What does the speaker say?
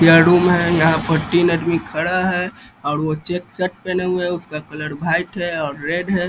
यहाँ रूम है यहाँ पर तीन आदमी खड़ा है और वो चेक शर्ट पहने हुए उसका कलर वाइट है और रेड है।